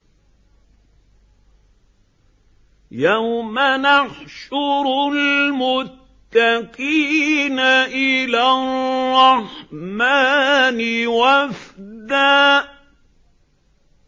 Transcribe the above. يَوْمَ نَحْشُرُ الْمُتَّقِينَ إِلَى الرَّحْمَٰنِ وَفْدًا